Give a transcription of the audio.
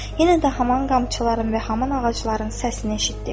Yenə də haman qamçıların və haman ağacların səsini eşitdik.